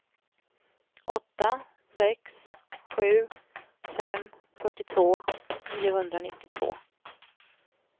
åtta sex sju fem fyrtiotvå niohundranittiotvå